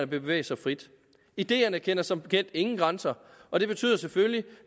bevæge sig frit ideerne kender som bekendt ingen grænser og det betyder selvfølgelig